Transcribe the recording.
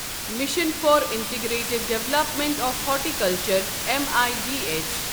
mission for integrated development of horticulture میدھ